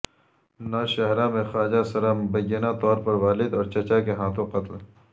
نوشہرہ میں خواجہ سرا مبینہ طور پر والد اور چچا کے ہاتھوں قتل